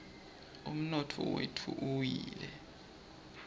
umnotfo wetfu uwile